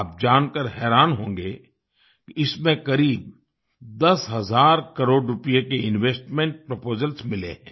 आप जानकर हैरान होंगे कि इसमें करीब दस हज़ार करोड़ रूपए के इन्वेस्टमेंट प्रपोजल्स मिले हैं